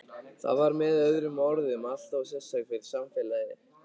Það var með öðrum orðum alltof sérstakt fyrir samfélagið.